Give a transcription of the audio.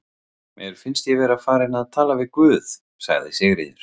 Mér finnst ég vera farin að tala við guð, sagði Sigríður.